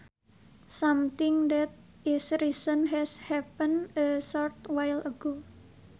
Something that is recent has happened a short while ago